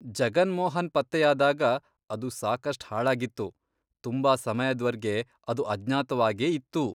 ಜಗನ್ ಮೋಹನ್ ಪತ್ತೆಯಾದಾಗ ಅದು ಸಾಕಷ್ಟ್ ಹಾಳಾಗಿತ್ತು, ತುಂಬಾ ಸಮಯದ್ವರ್ಗೆ ಅದು ಅಜ್ಞಾತವಾಗೇ ಇತ್ತು.